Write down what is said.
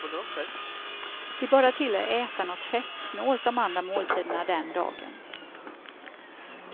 Se bara till att äta något fettsnålt de andra måltiderna den dagen.